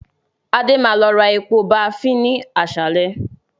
Adé máa lọ ra epo baafín ni àsálẹ́